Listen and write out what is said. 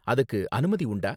அதுக்கு அனுமதி உண்டா?